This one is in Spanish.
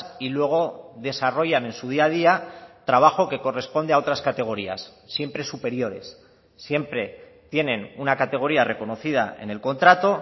y luego desarrollan en su día a día trabajo que corresponde a otras categorías siempre superiores siempre tienen una categoría reconocida en el contrato